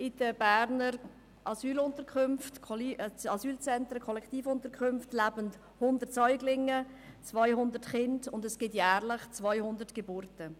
In den Berner Asylzentren leben 100 Säuglinge und 200 Kinder, und es gibt jährlich 200 Geburten.